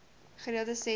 gereeld ses maand